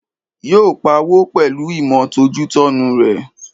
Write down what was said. Yóò pawó pẹ̀lúu ìmọ̀ tọ́jútọ́nu rẹ̀